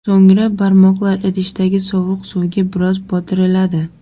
So‘ngra barmoqlar idishdagi sovuq suvga biroz botiriladi.